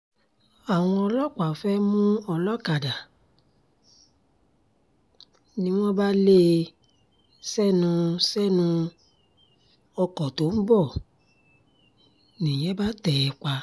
àwọn ọlọ́pàá fẹ́ẹ́ mú ọlọ́kadà ni wọ́n bá lé e sẹ́nu sẹ́nu ọkọ̀ tó ń bọ̀ nìyẹn bá tẹ̀ ẹ́ pa